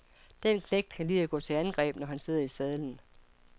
Den knægt kan lide at gå til angreb, når han sidder i sadlen.